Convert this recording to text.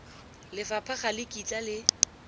lefapha ga le kitla le